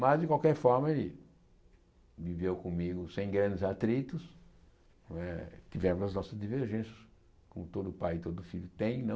Mas, de qualquer forma, ele viveu comigo sem grandes atritos né, tivemos as nossas divergências, como todo pai e todo filho tem, não?